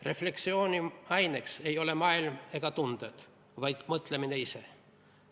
Refleksiooni aineks ei ole maailm ega tunded, vaid mõtlemine ise.